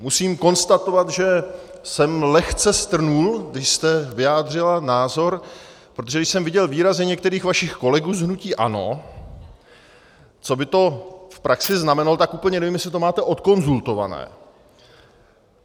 Musím konstatovat, že jsem lehce strnul, když jste vyjádřila názor, protože když jsem viděl výrazy některých vašich kolegů z hnutí ANO, co by to v praxi znamenalo, tak úplně nevím, jestli to máte odkonzultované.